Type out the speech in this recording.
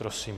Prosím.